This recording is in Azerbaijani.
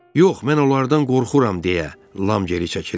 Yox, mən onlardan qorxuram deyə Ram geri çəkildi.